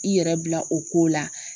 I yɛrɛ bila o ko la